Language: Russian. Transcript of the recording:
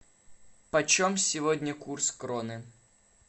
почем сегодня курс кроны